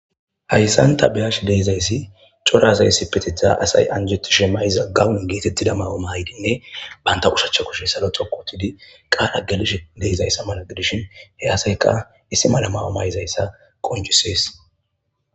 hayssanta beyash deizayssi cora asayssi petetha asay anjetu shemayiza gawun geetettida mawumaydinne banta ushachcha kushe salo xokotidi qaala gelish deizayssa mala gidishin he asayka issi mala mawuma izayssa qonjusees